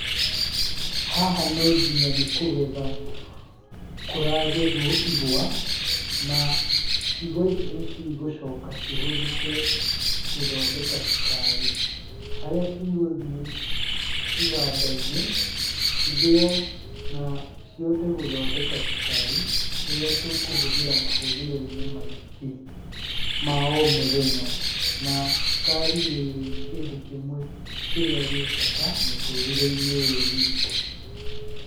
Haha no nginya nĩ kũgetha kũragethwo igwa, na igwa ici nĩ cigũcoka cihũthĩke gũthondeka cukari, harĩa cigũthiĩ iganda-inĩ cithĩo na cihote gũthondeka cukari ũrĩa tũkũhũthĩra mahũthĩro-inĩ maingĩ ma omũthenya. Na cukari nĩ kĩndũ kĩmwe kĩrĩa gĩ bata mũtũríĩe-inĩ ũyũ witũ.